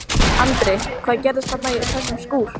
Andri: Hvað gerðist þarna í þessum skúr?